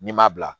N'i m'a bila